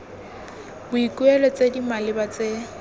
boikuelo tse di maleba tse